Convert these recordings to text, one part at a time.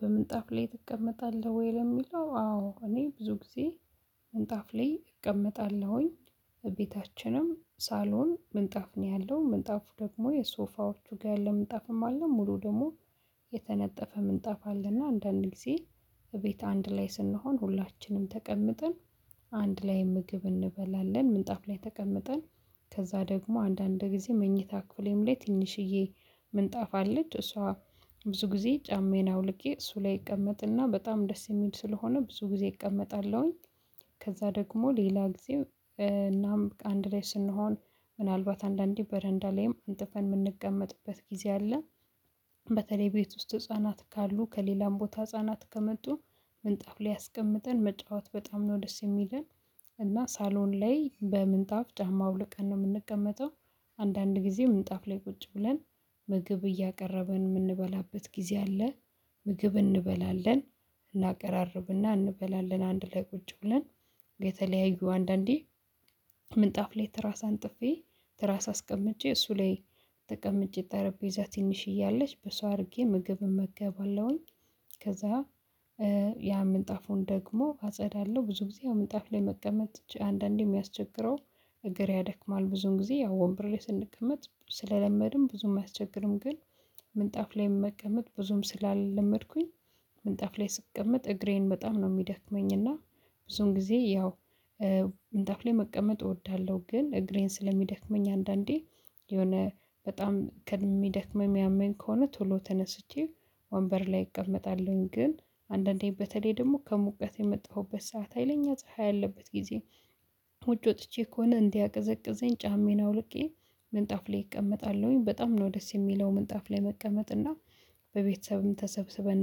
በምንጣፍ ላይ ትቀመጣለህ ወይ? ለሚለው አዎ እኔ ብዙ ጊዜ ምንጣፍ ላይ እቀመጣለሁኝ። ቤታችንም ሳሎን ምንጣፍ ነው ያለው ምንጣፉ ደግሞ የሶፋዎቹ ጋር ለምንጣፍም አለ ሙሉ ደግሞ የተነጠፈ ምንጣፍ አለና አንዳንድ ጊዜ እቤት አንድ ላይ ስንሆን ሁላችንም ተቀምጠን አንድ ላይ ምግብ እንበላለን ምንጣፍ ላይ ተቀምጠን። ከዛ ደግሞ አንዳንድ ጊዜ መኝታ ክፍሌም ላይ ትንሽዬ ምንጣፍ አለች እሷ ብዙ ጊዜ ጫማዬን አውልቄ እሱ ላይ ይቀመጥና በጣም ደስ የሚል ስለሆነ ብዙ ጊዜ እቀመጣለሁኝ። ከዛ ደግሞ ሌላ ጊዜ እናም አንድ ላይ ስንሆን ምናልባት አንዳንዴ በረንዳ ላይም አንጥፈን የምንቀመጥበት ጊዜ አለ። በተለይ ቤት ውስጥ ህፃናት ካሉ ከሌላም ቦታ ህፃናት ከመጡ ምንጣፍ ላይ አስቀምጠን መጫወት በጣም ነው ደስ የሚለን። እና ሳሎን ላይ በምንጣፍ ጫማው አውልቀን ነው የምንቀመጠው። አንዳንድ ጊዜ ምንጣፍ ላይ ቁጭ ብለን ምግብ እያቀረበን የምንበላበት ጊዜ አለ። ምግብ እንበላለን እናቀራርብና እንበላለን አንድ ላይ ቁጭ ብለን። የተለያዩ አንዳንዴ ምንጣፍ ላይ ትራስ አጥፌ ትራስ አስቀምጬ እሱ ላይ ተቀምጬ ጠረጴዛ ትንሽየ አለች በሳ አድርጌ ምግብ እመገባለሁኝ። ከዛ ያ ምንጣፉን ደግሞ አጸዳለሁ ብዙ ጊዜ ያው መጽሐፍ ላይ መቀመጥ አንዳንዴ የሚያስቸግረው። እግሬ ያደክማል ብዙ ጊዜ ያው ወንብር ላይ ስንቀመጥ ስለለመድን ብዙም አያስቸግርም። ግን ምንጣፍ ላይ መቀመጥ ብዙም ስላለመድኩኝ ምንጣፍ ላይ ስቀመጥ እግሬን በጣም ነው የሚደክመኝ። እና ብዙን ጊዜ ያው ምንጣፍ ላይ መቀመጥ እወዳለሁ። ግን እግሬን ስለሚደክመኝ አንዳንዴ የሆነ በጣም ከሚደክመኝ የሚያመኝ ከሆነ ቶሎ ተነስቼ ወንበር ላይ እቀመጣለሁኝ። ግን አንዳንዴ በተለይ ደግሞ ከሙቀት የመጣሁበት ሰዓት ሀይለኛ ፀሀይ ያለበት ጊዜ ወጪ ወጥቼ ከሆነ እንዲያቀዘቅዘኝ ጫሜን አውልቄ ምንጣፍ ላይ እቀመጣለሁኝ። በጣም ነው ደስ የሚለው ምንጣፍ ላይ መቀመጥ እና በቤተሰብም ተሰብስበን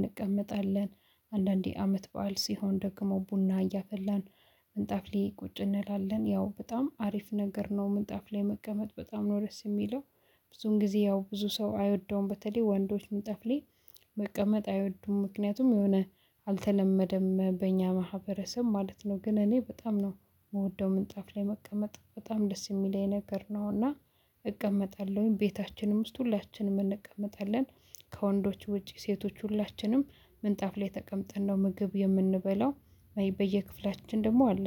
እንቀመጣለን። አንዳንዴ አመት በዓል ሲሆን ደግሞ ቡና እያፈላን ምንጣፍ ላይ ቁጭ እንላለን ያው በጣም አሪፍ ነገር ነው። ምን ጠፍ ላይ መቀመጥ በጣም ነው ደስ የሚለው። ብዙን ጊዜ ያው ብዙ ሰው አይወደውም በተለይ ወንዶች ምንጣፍ ላይ መቀመጥ አይወዱም ምክንያቱም የሆነ አልተለመደም በእኛ ማህበረሰብ ማለት ነው። ግን እኔ በጣም ነው የምወደው ምንጣፍ ላይ መቀመጥ በጣም ደስ የሚለኝ ነገር ነውና እቀመጣለሁኝ ቤታችንም ውስጥ ሁላችንም እንቀመጣለን። ከወንዶች ውጪ ሴቶች ሁላችንም ምንጣፍ ላይ ተቀምጠን ነው ምግብ የምንበላው በየክፍላችን ደግሞ አለ